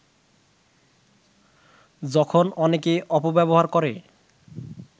যখন অনেকে অপব্যবহার করে